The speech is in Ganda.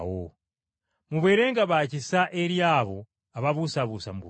Mubeerenga ba kisa eri abo ababuusabuusa mu kukkiriza,